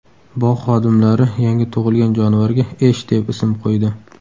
Bog‘ xodimlari yangi tug‘ilgan jonivorga Esh deb ism qo‘ydi.